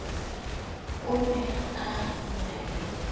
o ne a na ie